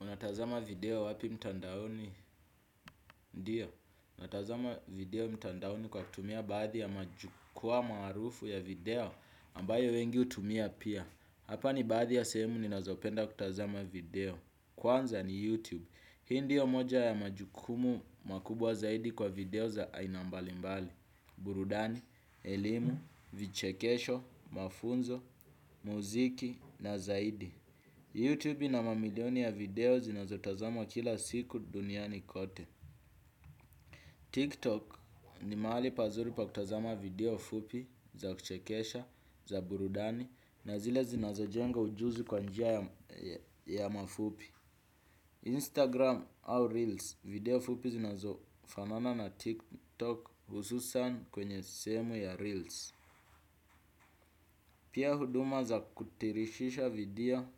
Unatazama video wapi mtandaoni? Ndiyo. Unatazama video mtandaoni kwa kutumia baadhi ya majukwaa marufu ya video ambayo wengi hutumia pia. Hapa ni baadhi ya sehemu ninazopenda kutazama video. Kwanza ni YouTube. Hii ndiyo moja ya majukumu makubwa zaidi kwa video za aina mbalimbali. Burudani, elimu, vichekesho, mafunzo, muziki na zaidi. Youtube ina mamilioni ya video zinazotazamwa kila siku duniani kote. TikTok ni mahali pazuri pa kutazama video fupi za kuchekesha za burudani na zile zinazojenga ujuzi kwa njia ya mafupi. Instagram au Reels video fupi zinazofanana na TikTok hususan kwenye sehemu ya Reels. Pia huduma za kutirishisha video